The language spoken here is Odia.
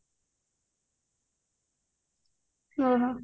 ଓହୋ